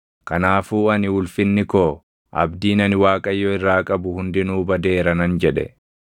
Kanaafuu ani “Ulfinni koo, abdiin ani Waaqayyo irraa qabu hundinuu badeera” nan jedhe.